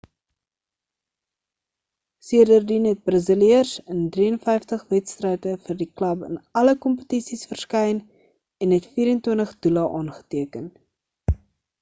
sedertien het die braziliër in 53 wedstryde vir die klub in alle kompetisies verskyn en het 24 doele aangeteken